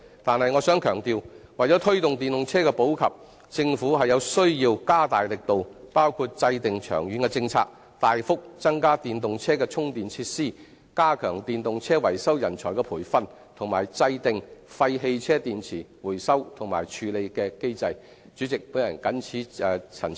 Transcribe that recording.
但是，我想強調，為推動電動車的普及，政府有需要加大力度，包括制訂長遠政策、大幅增加電動車的充電設施、加強電動車維修人才的培訓及制訂廢汽車電池回收和處理的機制。